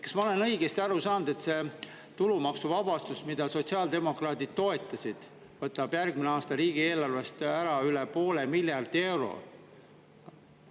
Kas ma olen õigesti aru saanud, et see tulumaksuvabastus, mida sotsiaaldemokraadid toetasid, võtab järgmine aasta riigieelarvest ära üle poole miljardi euro?